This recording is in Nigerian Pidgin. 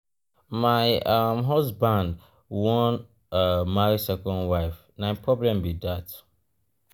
my um husband wan um marry second wife na him problem be dat. um